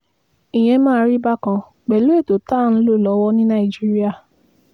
ìyẹn máa rí bákan pẹ̀lú ètò tá à ń lò lọ́wọ́ ní nàìjíríà